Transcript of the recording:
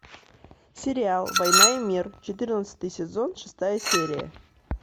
сериал война и мир четырнадцатый сезон шестая серия